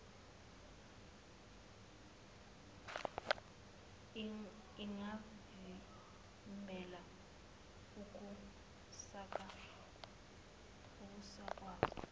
ingavimbela ukusaka zwa